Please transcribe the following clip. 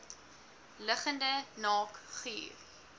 liggende naak guur